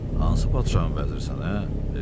Hansı padşahın vəzirisən ə?